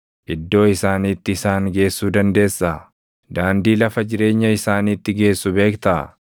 Iddoo isaaniitti isaan geessuu dandeessaa? Daandii lafa jireenya isaaniitti geessu beektaa?